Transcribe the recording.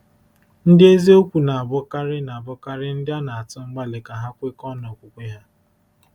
Ndị eziokwu na-abụkarị na-abụkarị ndị a na-atụ mgbali ka ha kwekọọ n’okwukwe ha.